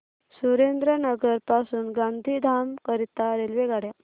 सुरेंद्रनगर पासून गांधीधाम करीता रेल्वेगाड्या